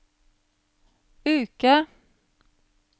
uke